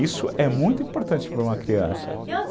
Isso é muito importante para uma criança. E